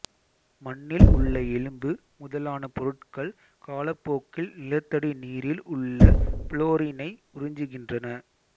மண்ணில் உள்ள எலும்பு முதலான பொருட்கள் காலப்போக்கில் நிலத்தடி நீரில் உள்ள புளோரினை உறிஞ்சுகின்றன